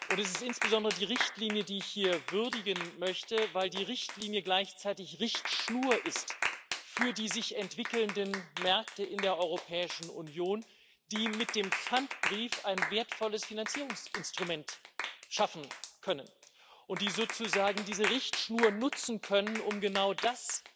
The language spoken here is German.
Es ist insbesondere die Richtlinie, die ich hier würdigen möchte, weil die Richtlinie gleichzeitig Richtschnur ist für die sich entwickelnden Märkte in der Europäischen Union, die mit dem Pfandbrief ein wertvolles Finanzierungsinstrument schaffen können und die sozusagen diese Richtschnur nutzen können, um genau das